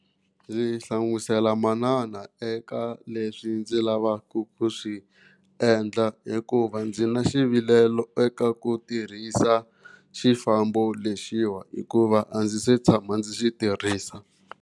Ndzi hlamusela manana eka leswi ndzi lavaka ku swi endla hikuva ndzi na xivilelo eka ku tirhisa xifambo lexiwa hikuva a ndzi se tshama ndzi xi tirhisa.